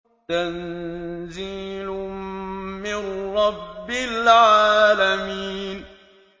تَنزِيلٌ مِّن رَّبِّ الْعَالَمِينَ